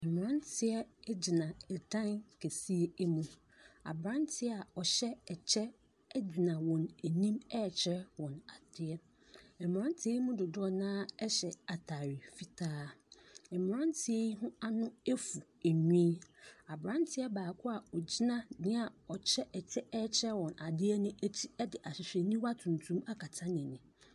Mmranteɛ egyina ɛdan kɛseɛ mu. Abranteɛ a ɔhyɛ ɛkyɛ egyna wɔn anim rekyerɛ wɔn adeɛ. Mmranteɛ yi mu dodoɔ no ara hyɛ ataade fitaa. Mmrateɛ yi ho ano afu nwi. Abranteɛ baako ogyina nea ɔhyɛ ɛkyɛ rekyerɛ wɔn adeɛ no akyi ɛde ahwehwɛniwa tuntum de adeɛ akata n'ani.